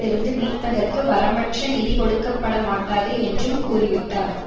இருந்து மீட்பதற்கு வரம்பற்ற நிதி கொடுக்கப்படமாட்டாது என்றும் கூறிவிட்டார்